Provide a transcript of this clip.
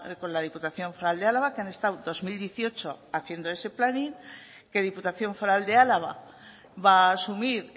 con la diputación foral de álava que han estado dos mil dieciocho haciendo ese planning que diputación foral de álava va a asumir